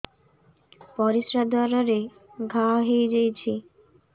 ପରିଶ୍ରା ଦ୍ୱାର ରେ ଘା ହେଇଯାଇଛି